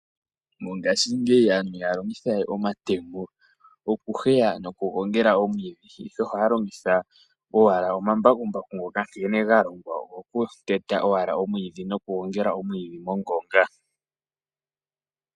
Mongashingeyi aantu ihaya longitha we omatemo okuheya nokugongela omwiidhi, ihe ohaya longitha owala omambakumbaku nkene ga longwa ogo ku teta omwiidhi nokugongela omwiidhi mongonga.